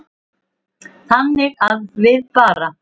Þannig að við bara.